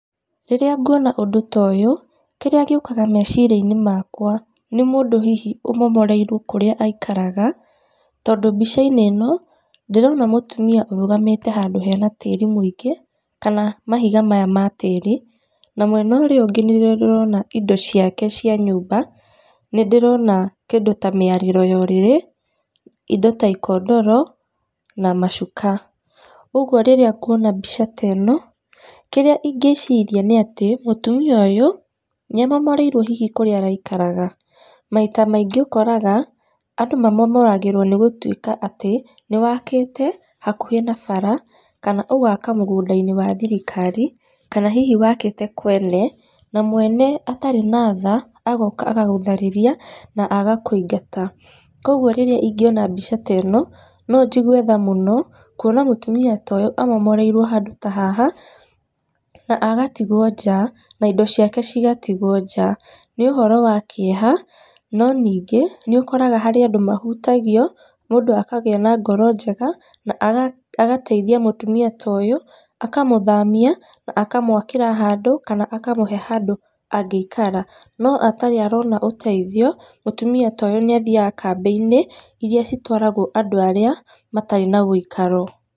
Rĩrĩa nguona ũndũ ta ũyũ, kĩrĩa gĩũkaga meciria-inĩ makwa, nĩ mũndũ hihi ũmomoreirwo kũrĩa aikaraga. Tondũ mbica-inĩ ĩno ndĩrona mũtumia ũrũgamĩte handũ hena tĩri mũingĩ, kana mahiga maya ma tĩri na mwena ũria ũngi nĩ ndĩrona indo ciake cia nyũmba, nĩndĩrona kĩndũ ta mĩarĩro ya ũrĩrĩ, indo ta ikondoro na macuka. Ũguo rĩrĩa nguona mbica ta ĩno, kĩrĩa ingĩciria nĩ atĩ mũtumia ũyũ niamomoreirwo kũrĩa hihi araikaraga. Maita maingĩ ũkoraga andũ mamomoragĩrwo nĩ gũtuĩka atĩ nĩwakĩte hakuhĩ na bara, kana ũgaka mũgũndainĩ wa thirikari, kana hihi wakĩte kwene na mwene atarĩ na tha agoka agagũtharĩria na agakũingata. Koguo rĩrĩa ingĩona mbica ta ĩno no njigue tha mũno kuona mũtumia ta ũyũ amomoreirwo handũ ta haha, na agatigwo nja na indo ciake cigatigwo nja nĩ ũhoro wa kĩeha. No ningĩ nĩ ũkoraga he andũ mahutagio mũndũ akagĩa na ngoro njega, mũndũ agateithia mũtumia ta ũyũ akamũthamia akamwakĩra handũ kana akamũhe handũ angĩikara. No atarĩ arona ũteithio, mũtumia ta ũyũ nĩ athiaga kambĩ-inĩ iria itwaragwo andũ arĩa matarĩ na ũikaro.